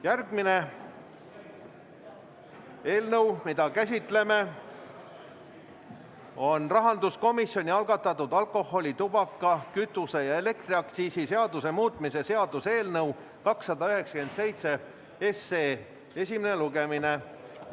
Järgmine eelnõu, mida käsitleme, on rahanduskomisjoni algatatud alkoholi-, tubaka-, kütuse- ja elektriaktsiisi seaduse muutmise seaduse eelnõu 297 esimene lugemine.